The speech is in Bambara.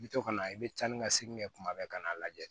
I bi to ka na i bɛ taa ni ka segin kɛ kuma bɛɛ ka n'a lajɛ